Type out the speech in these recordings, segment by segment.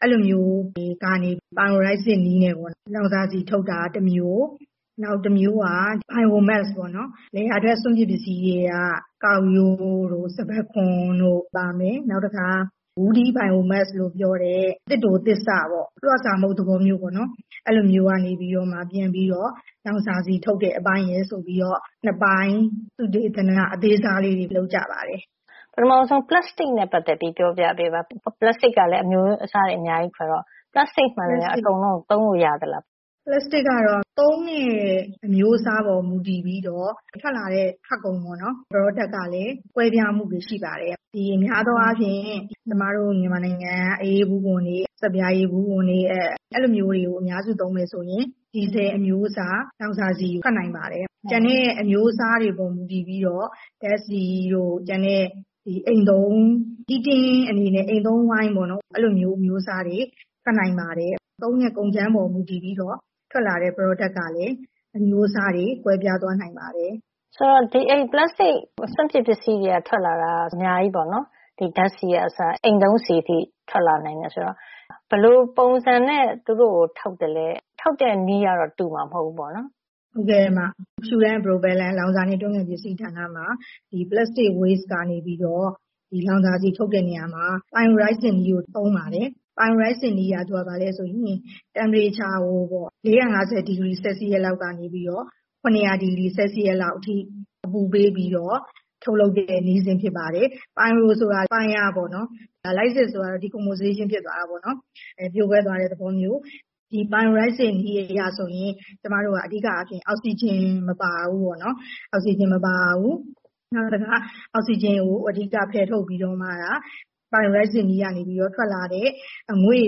အဲဒီလိုမျိုး တွေကနေ ပိုင်အိုရိုက်စစ် pyrolysis နည်းနဲ့ လောင်စာဆီ ထုတ်တာတမျိုးပါ။ နောက်တမျိုးက biomass ဆိုတာပေါ့နော်။ လယ်ယာထွက် စွန့်ပစ်ပစ္စည်း ဖြစ်တဲ့ ကောက်ရိုးတို့ စပါးခွံတို့ ပါမယ်။ နောက် woody biomass လို့ ပြောတဲ့ သစ်တိုသစ်စပေါ့။ လွှစာမှုန့် သဘောမျိုးပေါ့။ အဲဒီလိုမျိုးကနေ လောင်စာဆီ ပြန်ပြီးထုတ်တဲ့ အပိုင်းဆိုပြီးတော့ ၂ ပိုင်း၊ သုတေသန အသေးစားလေးတွေ လုပ်ကြပါတယ်။” “ပထမဆုံး ပလပ်စတစ်နဲ့ ပတ်သက်ပြီးတော့ ပြောပြပေးပါ။ ပလပ်စတစ်က အမျိုးအစားတွေ အများကြီးဆိုတော့ ပလပ်စတစ်မှန်သမ ျှ အကုန်သုံးလို့ ရပါသလား။” “ပလပ်စတစ်ကတော့ သုံးတဲ့ အမျိုးအစားပေါ် မူတည်ပြီးတော့ ထွက်လာတဲ့ ထွက်ကုန် product ကလည်း ကွဲပြားမှုရှိပါတယ်။ များသောအားဖြင့် ကျမတို့ မြန်မာနိုင်ငံက အအေးဘူးခွံတွေ၊ ဆပ်ပြာရည်ဘူးခွံတွေ၊ အဲဒီလိုမျိုးတွေကို အများစု သုံးမယ် ဆိုရင် ဒီဇယ်အမျိုးအစား လောင်စာဆီထွက်နိုင်ပါတယ်။ ကျန်တာတွေကလည်း အမျိုးအစားတွေပေါ်မူတည်ပြီးတော့ ဓါတ်ဆီတို့၊ အိမ်သုံး heating အနေနဲ့ အိမ်သုံးဆီ အမျိုးအစားတွေ ထွက်နိုင်ပါတယ်။ သုံးတဲ့ကုန်ကြမ်းပေါ်မူတည်ပြီးတော့ ထွက်လာတဲ့ product ကလည်း အမျိုးအစားတွေ ကွဲသွားနိုင်ပါတယ်။” “ဆိုတော့ ပလပ်စတစ်စွန့်ပစ် ပစ္စည်းကနေ ထုတ်နိုင်တာက. အများကြီးပေါ့နော်။ ဓါတ်ဆီကအစ အိမ်သုံးဆီ အထိ ထွက်လာနိုင်တယ် ဆိုတော့ ဘယ်လိုပုံစံနဲ့ သူတို့ကို ထုတ်သလဲ။ ထုတ်တဲ့နည်းကတော့ တူမှာ မဟုတ်ဖူးပေါ့နော်။” “ဟုတ်ကဲ့ပါ။ လောင်စာနဲ့ တွန်းကန်ပစ္စည်း ဌာနမှာ ပလပ်စတစ်စွန့်ပစ် ပစ္စည်းကနေပြီးတော့ လောင်စာဆီ ထုတ်တဲ့ နေရာမှာ ပိုင်ရိုလိုက်ဆစ် နည်းကို သုံးပါတယ်။ အဲဒီနည်းက အပူချိန်ကို ၇၀၀ ဒီဂရီဆဲလ်စီးယပ်စ်လောက် အထိ အပူပေးပြီးတော့ ထုတ်လုပ်တဲ့ နည်းစဉ် ဖြစ်ပါတယ်။ pyro ဆိုတာက မီးပါ။ lysis ကတော့ decomposition ဖြစ်သွားတဲ့ သဘော- ပြိုကွဲအောင် ခြေဖျက်တာ ပေါ့နော်။ ပြိုကွဲသွားတဲ့ သဘောမျိုး။ ဒီနည်းအရ ဆိုရင် အဓိကက အောက်ဆီဂျင် မပါဘူးပေါ့နော်။ နောက်တခါ အောက်ဆီဂျင်ကို အဓိက ဖယ်ထုတ် ပြီးတော့မှ ပိုင်ရိုလိုက်ဆစ်နည်းကနေ ထွက်လာတဲ့ အငွေ့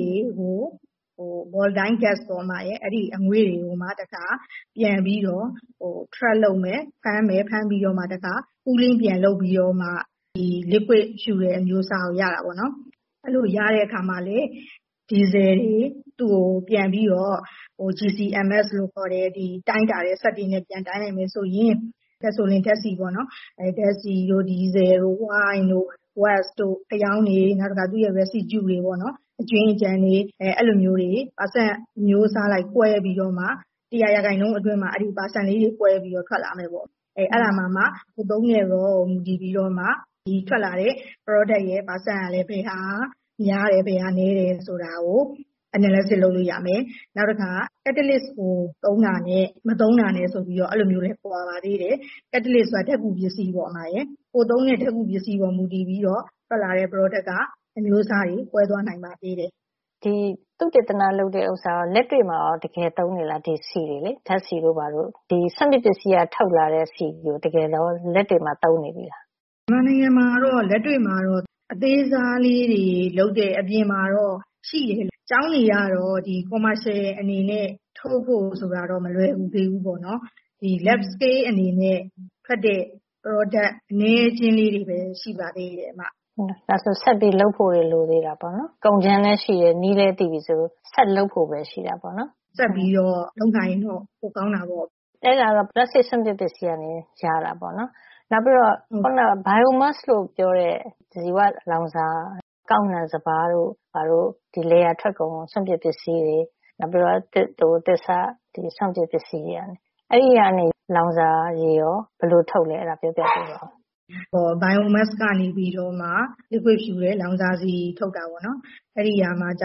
တွေကို - volatile gas ပေါ့။ ဒီအငွေ့တွေကိုမှ ပြန်ပြီးတော့ ဖမ်းမယ်။ ဖမ်းပြီးတော့မှ တခါ အအေးပြန်ခံ ပြီးတော့မှ ဒီ liquid fuel လောင်စာရည် အမျိုးအစားကို ရတာပေါ့နော်။ အဲဒီလို ရတဲ့ အခါမှာလည်း ဒီဇယ်တွေ သူ့ကို ပြန်ပြီးတော့ GCMS လို့ခေါ်တဲ့ တိုင်းတာတဲ့ စက်တွေနဲ့ ပြန်တိုင်းလိုက်မယ် ဆိုရင် ဓါတ်ဆီတို့၊ ဒီဇယ်တို့၊ oil ဆီတို့ ၊ gas ဓါတ်ငွေ့တို့ ၊ wax ဖယောင်းရည်၊ နောက်တခါ သူ့ရဲ့ residue အကျွင်းအကျန်တွေ၊ အဲဒီလိုမျိုး ရာခိုင်နှုန်း အမျိုးအစားလိုက် ကွဲပြီး တရာ ရာခိုင်နှုန်းမှာ အဲဒီလို percent လေးတွေ ကွဲပြီး ထွက်လာမယ် ပေါ့။ အဲဒါမှာမှ ကိုယ်သုံးတဲ့ ကုန်ကြမ်းပေါ် မူတည်ပြီးတော့ ထွက်လာတဲ့ product ရဲ့ percent က ဘယ်ဟာက မျုားတယ်၊ ဘယ်ဟာက နည်းတယ်ဆိုတာကို analysis ဆန်းစစ်လို့ ရမယ်။ နောက်တခါ catalyst ကို သုံးတာနဲ့ မသုံးတာနဲ့လည်း ကွာပါသေးတယ်။ catalyst ဆိုတာက ဓါတ်ကူပစ္စည်းပါ။ ကိုယ်သုံးတဲ့ ဓါတ်ကူပစ္စည်းပေါ် မူတည်ပြီးတော့ ထွက်လာတဲ့ product က အမျိုးအစားတွေ ကွဲသွားနိုင်ပါသေးတယ်။” “ဒီသုတေသန လုပ်တဲ့ဥစ္စာကို လက်တွေ့မှာရော တကယ်သုံးနေသလား၊ ဒီဆီကိုလေ။ ဓါတ်ဆီတို့ ဘာတို့။ ဒီစွန့်ပစ် ပစ္စည်းက ထုတ်လာတဲ့ ဆီကို လက်တွေမှာ သုံးနေပြီလား။” “မြန်မာနိုင်ငံမှာကတော့ လက်တွေ့မှာ အပြင်မှာ အသေးစားလေးတွေ လုပ်တဲ့ဟာ အပြင်မှာတော့ ရှိတယ်။ ကျောင်းတွေကတော့ စီးပွါးဖြစ်အနေနဲ့ ထုတ်ဖို့ ဆိုတာက မလွယ်သေးဘူးပေါ့။lab scale ဓါတ်ခွဲခန်းထုတ် အနေနဲ့ ထွက်တဲ့ product အနည်းအကျဉ်းလေး တွေပဲ ရှိပါသေးတယ်။” “ဒါဆို ဆက်ပြီးလုပ်ဖို့တွေ လိုသေးတယ်ပေါ့နော်။. ကုန်ကြမ်းလည်း ရှိတယ်၊ နည်းလဲသိပြီ ဆိုတော့ ဆက်လုပ်ဖို့ပဲ ရှိတာပေါ့နော်။” “ဆက်ပြီးတော့ လုပ်နိုင်ရင်တော့ ပိုကောင်းတာပေါ့။” “အဲဒါကတော့ ပလပ်စတစ် စွန့်ပစ် ပစ္စည်းကနေ ရတာပေါ့နော်။biomass လို့ပြောတဲ့ ဇီဝလောင်စာ- ကောက်နှံစပါးတို့ ဘာတို့၊ ဒီလယ်ယာထွက်ကုန် စွန့်ပစ်ပစ္စည်းတွေ၊ နောက် သစ်တိုသစ်စ၊ စွန့်ပစ်ပစ္စည်းတွေ၊ အဲဒီကနေ လောင်စာအရည်ကို ဘယ်လို ထုတ်သလဲ ပြောပြပေးပါ။” “ biomass ကနေ liquid fuel - လောင်စာဆီ ထုတ်တာက ကျ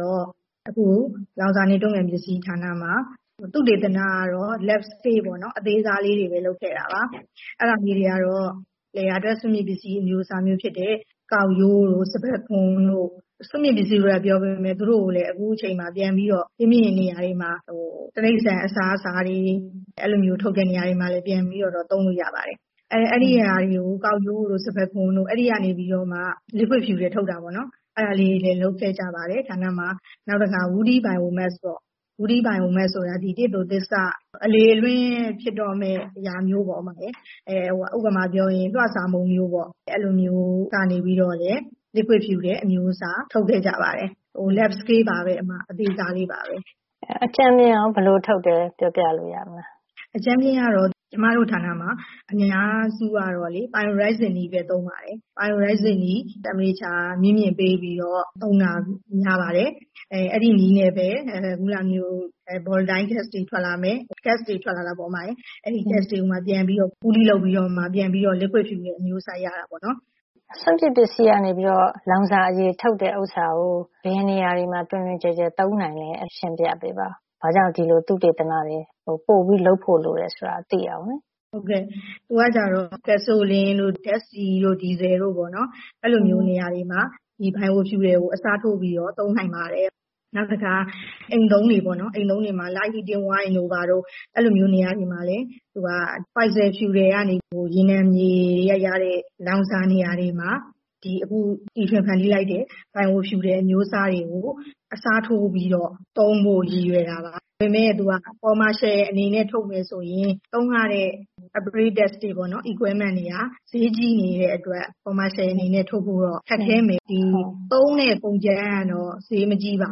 တော့ ကျမတို့ လောင်စာနဲ့ တွန်းကန်ပစ္စည်း ဌာနမှာ သုတေသနကတော့ lab scale အသေးစားလေးတွေပဲ လုပ်ခဲ့တာပါ။ အဲဒါတွေက ကျတော့ လယ်ယာထွက် စွန့်ပစ် ပစ္စည်းအမျိုးအစားမျိုး ဖြစ်တဲ့ ကောက်ရိုးတို့၊ စပါးခွံတို့၊ စွန့်ပစ် ပစ္စည်းလို့ ပြောပေမယ့် သူတို့ကို အခုအချိန်မှာ ဒီ့ပြင် တခြားနေရာတွေမှာ တိရိစ္ဆာန်အစားအစာတွေ ပြန်ပြီးထုတ်တဲ့နေရာတွေမှာလည်း ပြန်ပြီးတော့ သုံးလို့ရပါတယ်။ အဲဒီ ကောက်ရိုးတို့ စပါးခွံတို့က နေပြီးတော့မှ လောင်စာအရည် liquid fuel ထုတ်တာတွေလည်း လုပ်ခဲ့ကြပါတယ်။ ဌာနမှာ။ နောက်တခါ woody biomass ပေါ့။ အဲဒါက သစ်တိုသစ်စ၊ အလေအလွင့် ဖြစ်တော့မယ့် အရာမျိုးပေါ့။ ဥပမာ ပြောရရင် လွှစာမှုန့် မျိုးပေါ့။ အဲဒါမျိုးကနေလည်း လောင်စာအရည် ထုတ်ပါတယ်။ အသေးစားလေး. ပါပဲ။ “အကြမ်းဖျင်းဘယ်လို ထုတ်တယ် ဆိုတာ ပြောပြလို့ ရမလား။” “အကြမ်းဖျင်းကတော့ ကျမတို့ ဌာနမှာ အများစုကို pyrolysis နည်း ပဲ သုံးပါတယ်။ အပူချိန် မြင့်မြင့်ပေးပြီး ပြိုကွဲအောင် လုပ်တာ များပါတယ်။ အဲဒီနည်းနဲ့ပဲ volatile gas တွေ ထွက်လာမယ်။ gas တွေ ထွက်လာတာပေါ့။ အဲဒီ gas တွေ ကိုမှ ပြန်ပြီး အအေးခံပြီးတော့မှ လောင်စာအရည် အမျိုးအစား ရတာပေါ့နော်။” “စွန့်ပစ်ပစ္စည်းကနေ လောင်စာအရည် ထုတ်တာကို ဘယ်နေရာတွေမှာ တွင်တွင်ကျယ်ကျယ် သုံးနိုင်သလဲ ရှင်းပြပေးပါ။ ဘာကြောင့် ဒီလိုသုတေသနတွေ ပိုပြီး လုပ်ဖို့ လိုတယ် ဆိုတာသိအောင်ပါ” “သူက ဓါတ်ဆီတို့ ဒီဇယ်ဆီ တို့ပေါ့နော်။ အဲဒီနေရာတွေမှာ ဒီ biofuel ကို အစားထိုးပြီးတော့ သုံးနိုင်ပါတယ်။ နောက်တခါ အိမ်သုံးတွေ ပေါ့နော်။ အိမ်သုံးတွေမှာ light heating ဆီတို့ အဲဒီလို နေရာတွေမှာလည်း သူက fossil fuel - ရေနံမြေကရတဲ့ လောင်စာ နေရာတွေမှာ အခု တီထွင်ဖန်တီးလိုက်တဲ့ bio fuelအမျိုးအစားတွေကို အစားထိုးပြီးတော့ သုံးဖို့ ရည်ရွယ်တာပါ။ ဒါပေမယ့် စီးပွါးဖြစ် ထုတ်ဖို့ ဆိုရင်တော့ သုံးရတဲ့ ပစ္စည်းကရိယာတွေက ဈေးကြိးနေသေးတဲ့အတွက် စီးပွါးဖြစ်ထုတ်ဖို့ ခက်ခဲမယ်။ ဒီ သုံးမယ့် ကုန်ကြမ်းကတော့ ဈေးမကြီးပါ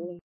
ဘူး